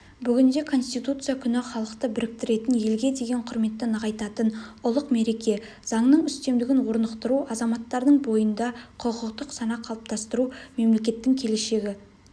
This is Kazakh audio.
бүгінде конституция күні халықты біріктіретін елге деген құрметті нығайтатын ұлық мереке заңның үстемдігін орнықтыру азаматтардың бойында құқықтық сана қалыптастыру мемлекеттің келешегі